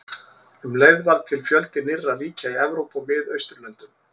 Um leið varð til fjöldi nýrra ríkja í Evrópu og Miðausturlöndum.